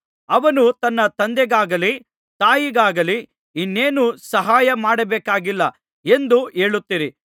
ಅವನು ತನ್ನ ತಂದೆಗಾಗಲಿ ತಾಯಿಗಾಗಲಿ ಇನ್ನೇನೂ ಸಹಾಯ ಮಾಡಬೇಕಾಗಿಲ್ಲ ಎಂದು ಹೇಳುತ್ತೀರಿ